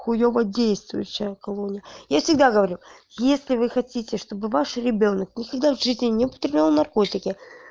хуёво действующая колония я всегда говорю если вы хотите чтобы ваш ребёнок никогда в жизни не употреблял наркотики